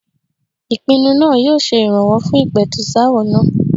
Ìpinnu náà yóò se ìrànwọ́ fún ìpẹ̀tùsááwọ̀ náà.